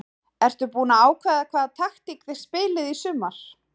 Ertu búinn að ákveða hvaða taktík þið spilið í sumar?